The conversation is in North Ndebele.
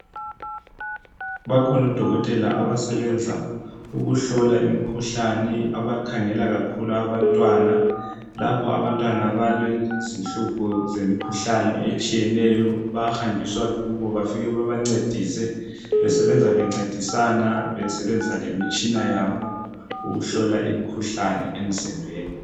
Bakhona odokotela abasebenza ukuhlola imkhuhlane abakhangela kakhulu abantwana, labo abantwana balezinhlupho zemikhuhlane etshiyeneyo bahanjiswa kubo bafike babancedise. Besenza bencedisa besebenzisa lemitshina yabo ukuhlola imkhuhlane emzimbeni.